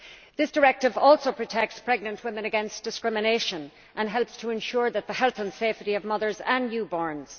This directive also protects pregnant women against discrimination and helps to ensure the health and safety of mothers and newborns.